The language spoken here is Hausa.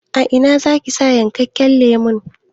A ina zaki sa yankakken lemon?